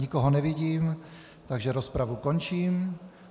Nikoho nevidím, takže rozpravu končím.